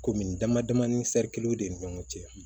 Komi dama dama ni ni ɲɔgɔn cɛ